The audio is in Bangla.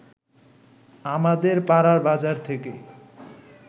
আমাদের পাড়ার বাজার থেকে